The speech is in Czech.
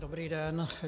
Dobrý den.